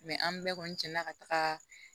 an bɛɛ kɔni cɛn na ka taga